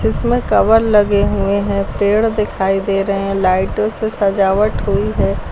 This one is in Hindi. इसमें कवर लगे हुए हैं पेड़ दिखाई दे रहे हैं लाइटों से सजावट हुई है।